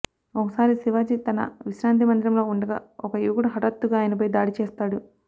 ఒకసారి శివాజీ తన విశ్రాంతి మందిరంలో ఉండగా ఒక యువకుడు హఠాత్తుగా ఆయనపై దాడిచేస్తాడు